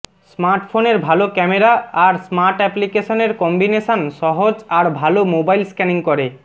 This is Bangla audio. স্মার্টফোনের ভাল ক্যামেরা আর স্মার্টঅ্যাপ্লিকেশানের কম্বিনেশান সহজ আর ভাল মোবাইল স্ক্যানিং করে